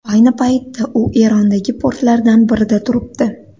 Ayni paytda u Erondagi portlardan birida turibdi.